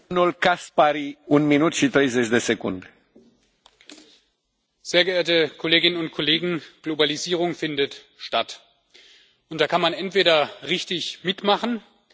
Herr Präsident, sehr geehrte Kolleginnen und Kollegen! Globalisierung findet statt, und da kann man entweder richtig mitmachen, oder man kann es richtig bleiben lassen.